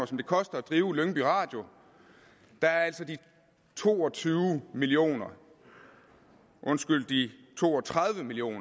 som det koster at drive lyngby radio er altså de to og tyve million kr undskyld de to og tredive million